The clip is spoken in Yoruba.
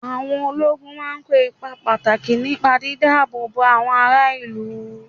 Àwọn ológun máa ń kó ipa pàtàkì nípa dídá-ààbò-bo àwọn ará ìlú.